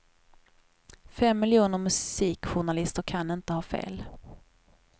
Fem miljoner musikjournalister kan inte ha fel.